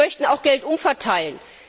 Wir möchten auch Geld umverteilen.